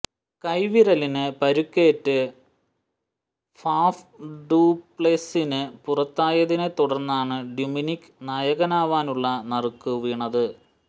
കൈവിരലിന് പരുക്കേറ്റ് Faf du Plessis പുറത്തായതിനെ തുടര്ന്നാണ് ഡുമിനിക്ക് നായകനാവാനുള്ള നറുക്ക് വീണത്